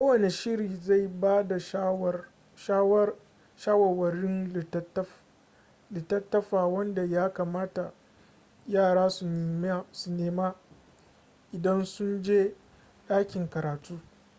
kowane shirin zai ba da shawarwarin littattafa wanda ya kamata yara su nema idan sun je ɗakin karatu